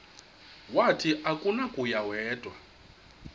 wathi akunakuya wedw